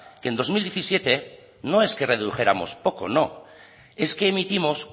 que en dos mil diecisiete no es que redujéramos poco no es que emitimos